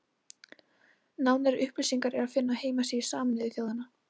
Nánari upplýsingar er að finna á heimasíðu Sameinuðu þjóðanna.